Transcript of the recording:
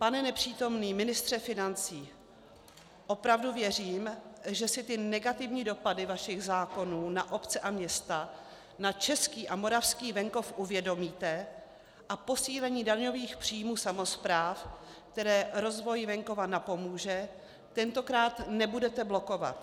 Pane nepřítomný ministře financí, opravdu věřím, že si ty negativní dopady vašich zákonů na obce a města, na český a moravský venkov uvědomíte a posílení daňových příjmů samospráv, které rozvoji venkova napomůže, tentokrát nebudete blokovat.